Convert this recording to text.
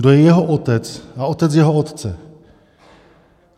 Kdo je jeho otec a otec jeho otce.